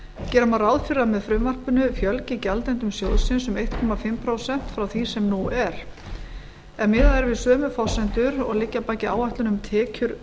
gera má ráð fyrir að með frumvarpinu fjölgi gjaldendum sjóðsins um eins og hálft prósent frá því sem nú er ef miðað er við sömu forsendur og liggja að baki áætlun um tekjur